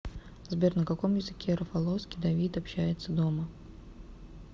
сбер на каком языке рафаловский давид общается дома